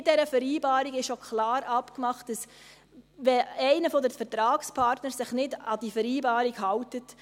In dieser Vereinbarung wurde auch klar abgemacht, dass sie hinfällig ist, wenn sich einer der Vertragspartner nicht an die Vereinbarung hält.